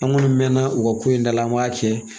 An gɔni mɛnna u ka ko in dala an m'a cɛ